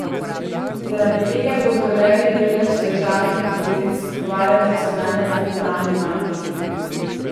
Zaradi tega bodo levji delež državnih obveznic kupovale nacionalne centralne banke.